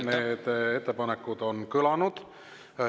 Need ettepanekud on kõlanud.